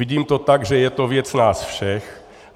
Vidím to tak, že je to věc nás všech.